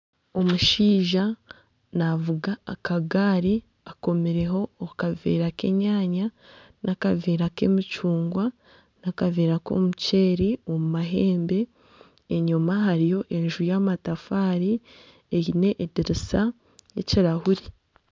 Omushaija naavuga akagaari akomireho akaveera k'enyaanya n'akaveera k'emicungwa n'akaveera k'omuceeri omu mahembe. Enyima hariyo enju y'amatafaari eine edirisa y'ekirahuri.